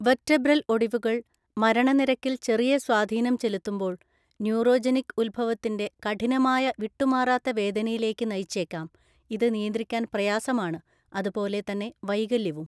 Vertebral ഒടിവുകൾ, മരണനിരക്കിൽ ചെറിയ സ്വാധീനം ചെലുത്തുമ്പോൾ, ന്യൂറോജെനിക് ഉത്ഭവത്തിന്റെ കഠിനമായ വിട്ടുമാറാത്ത വേദനയിലേക്ക് നയിച്ചേക്കാം, ഇത് നിയന്ത്രിക്കാൻ പ്രയാസമാണ്, അതുപോലെ തന്നെ വൈകല്യവും.